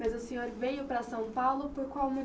Mas o senhor veio para São Paulo por qual